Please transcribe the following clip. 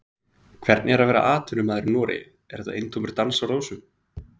Hvernig er að vera atvinnumaður í Noregi, er þetta eintómur dans á rósum?